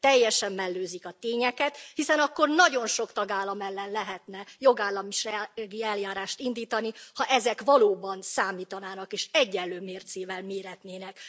Teljesen mellőzik a tényeket, hiszen akkor nagyon sok tagállam ellen lehetne jogállamisági eljárást indítani, ha ezek valóban számítanának és egyenlő mércével méretnének.